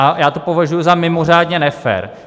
A já to považuji za mimořádně nefér.